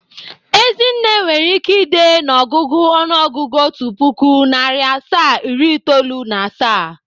Ezinne nwere ike ide n'ọgụgụ ọnụọgụgụ otu pụkụ, narị asaa, iri itoolu na asaa